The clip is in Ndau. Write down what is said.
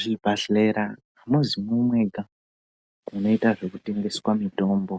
Zvibhadhlera amuzimwo mwega munoita zvekutengesa mutombo